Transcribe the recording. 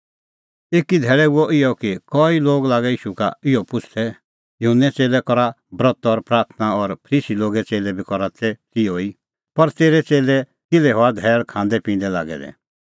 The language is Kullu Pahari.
एकी धैल़ै हुअ इहअ कि कई लोग लागै ईशू का इहअ पुछ़दै युहन्ने च़ेल्लै करा ब्रत और प्राथणां और फरीसी लोगे च़ेल्लै बी करा तिहअ ई पर तेरै च़ेल्लै किल्है हआ धैल़ खांदैपिंदै लागै दै